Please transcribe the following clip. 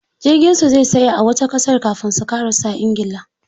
Jirgin su zai tsaya a wata ƙasar kafin su ƙarasa ingila.